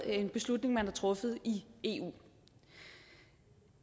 er en beslutning man har truffet i eu